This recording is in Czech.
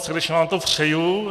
Srdečně vám to přeju.